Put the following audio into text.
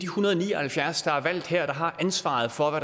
hundrede og ni og halvfjerds der er valgt her der har ansvaret for